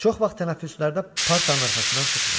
Çox vaxt tənəffüslərdə partın arxasından çıxmırdı.